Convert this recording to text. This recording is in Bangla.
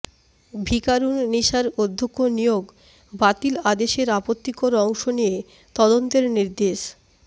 ভিকারুননিসার অধ্যক্ষ নিয়োগ বাতিল আদেশের আপত্তিকর অংশ নিয়ে তদন্তের নির্দেশ